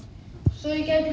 svo ég gæti